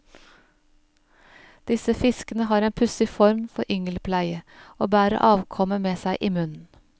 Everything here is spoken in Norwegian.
Disse fiskene har en pussig form for yngelpleie, og bærer avkommet med seg i munnen.